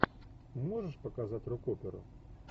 можешь показать рок оперу